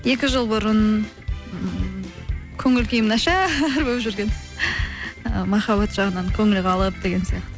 екі жыл бұрын көңіл күйім нашар болып жүрген ы махаббат жағынан көңіл қалып деген сияқты